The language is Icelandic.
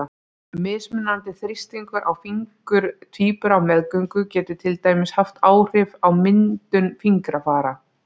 Mismunandi þrýstingur á fingur tvíbura á meðgöngu getur til dæmis haft áhrif á myndun fingrafara.